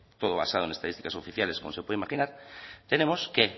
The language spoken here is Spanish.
todo basado en estadísticas oficiales como se puede imaginar tenemos que